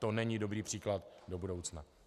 To není dobrý příklad do budoucna.